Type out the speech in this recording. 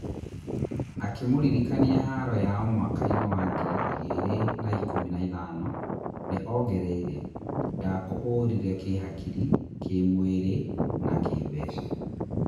Akĩ mũririkania haro yao mwakainĩ wa ngiri igĩ rĩ na ikũmi na ithano, nĩ ongereire, "Ndakũhũrire kĩ hakiri, kímwĩ rĩ na kĩ mbeca"